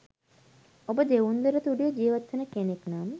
ඔබ දෙවුන්දර තුඩුවෙ ජීවත්වෙන කෙනෙක් නම්